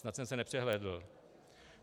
Snad jsem se nepřehlédl.